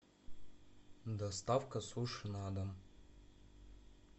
доставка суши на дом